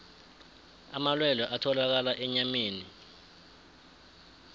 amalwelwe atholakala enyameni